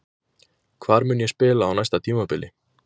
Hvar mun ég spila á næsta tímabili?